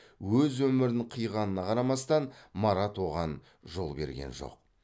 өз өмірін қиғанына қарамастан марат оған жол берген жоқ